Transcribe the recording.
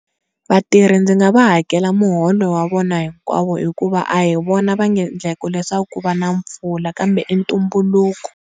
Vatirhi ndzi nga va hakela muholo wa vona hinkwavo hikuva a hi vona va nge leswaku ku va na mpfula kambe i ntumbuluko.